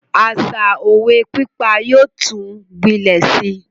Àṣa òwe pípa yóò tún gbilẹ Si